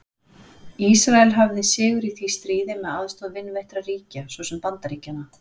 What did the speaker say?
Ísrael hafði sigur í því stríði með aðstoð vinveittra ríkja svo sem Bandaríkjanna.